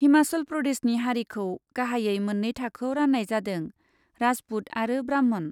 हिमाचल प्रदेशनि हारिखौ गाहायै मोन्नै थाखोयाव रान्नाय जादोंः राजपुत आरो ब्राह्मण।